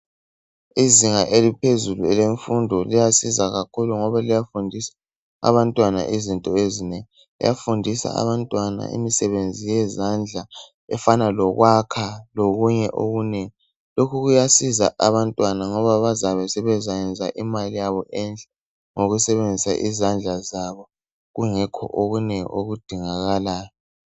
izinga eliphezulu elemfundo liyasiza kakhulu ngoba liyafundisa abantwana izinto ezinengi liyafundisa abantwana imisebenzi yezandla efana lokwakha lokunye okunengi lokhu kuyasiza abantwana ngoba bazabe sebezayenza imali yabo enhle ngokusebenzisa izandla zabo kungekho okunengi okudingakalayo